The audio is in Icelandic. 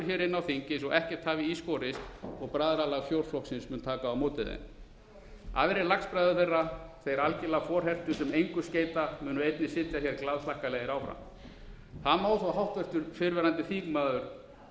á þing eins og ekkert hafi í borist og bræðralag fjórflokksins mun taka á móti þeim aðrir lagsbræður þeirra þeir algerlega forhertu sem engu skeyta munu einnig sitja hér glaðhlakkalegir áfram það má þó háttvirtur fyrrverandi þingmaður